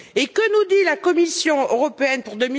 Que nous dit la Commission européenne pour